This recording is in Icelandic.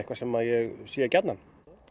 sem að ég sé gjarnan